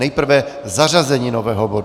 Nejprve zařazení nového bodu.